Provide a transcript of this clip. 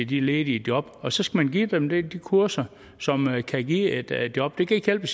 de ledige job og så skal man give dem de kurser som kan give et job det kan ikke hjælpe